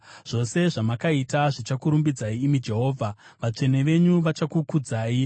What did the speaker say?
Zvose zvamakaita zvichakurumbidzai, imi Jehovha; vatsvene venyu vachakukudzai.